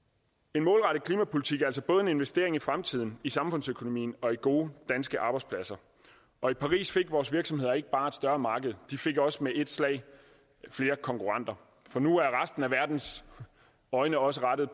en målrettet klimapolitik er altså både en investering i fremtiden i samfundsøkonomien og i gode danske arbejdspladser og i paris fik vores virksomheder ikke bare et større marked de fik også med et slag flere konkurrenter for nu er resten af verdens øjne også rettet